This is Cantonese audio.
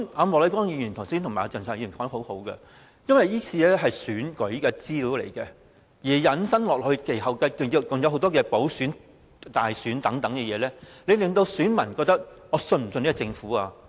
莫乃光議員和鄭松泰議員說得很好，由於這次失竊的是選舉資料，引申下去，其後還有很多的補選、大選等，選民會質疑可否信任這個政府？